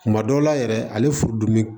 Kuma dɔw la yɛrɛ ale fudimi